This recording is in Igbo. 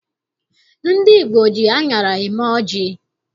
Ndị Igbo ji aṅara eme ọjị